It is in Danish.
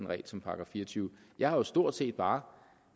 regel som § fire og tyve jeg har jo stort set bare